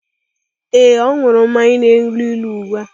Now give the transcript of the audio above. Ee, ọ ṅụrụ mmanya na-elu ilu ugbu a.